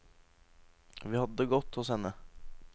Vi hadde det godt hos henne.